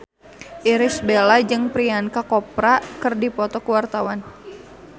Irish Bella jeung Priyanka Chopra keur dipoto ku wartawan